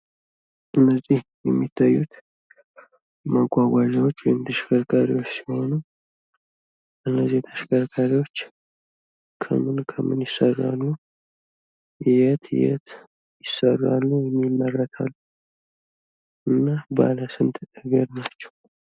እነዚህ የሚታዩት መጓጓዣዎች ወይም ተሽከርካሪዎች ሲሆኑ እነዚህ ተሽከርካሪዎች ከምን ከምን ይሰራሉ? የት የት ይሰራሉ ወይም ይመረታሉ? እና ባለስንት እግር ናቸው?